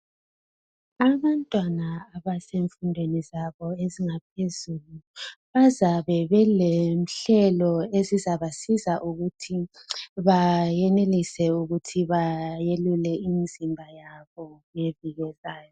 Abantwana abasemfundweni zabo ezingaphezulu bazabe belenhlelo ezizabasiza ukuthi bayenelise ukuthi bayelule imizimba yabo ngeviki ezayo.